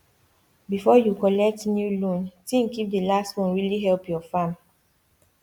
before you collect new loan think if the last one really help your farm